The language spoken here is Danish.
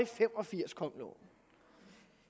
fem og firs kom loven